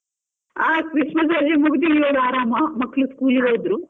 ಹಾ Christmas ರಜೆ ಮುಗ್ದು ಇವಾಗ ಆರಾಮ, ಮಕ್ಳು school ಗೆ ಹೋದ್ರು.